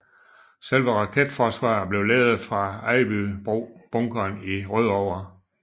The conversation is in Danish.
Selve raketforsvaret blev ledet fra Ejbybro Bunkeren i Rødovre